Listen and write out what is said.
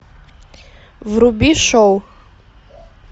вруби шоу